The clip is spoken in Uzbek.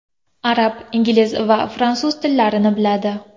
Arab, ingliz va fransuz tillarini biladi.